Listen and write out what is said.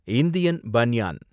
Indian banyan